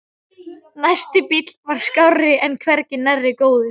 Næsti bíll var skárri en hvergi nærri góður.